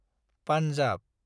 Punjab